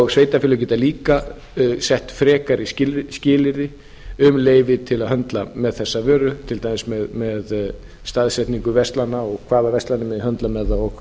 sveitarfélög geta líka sett frekari skilyrði um leyfi til að höndla með þessa vöru til dæmis með staðsetningu verslana og hvaða verslanir megi höndla með það og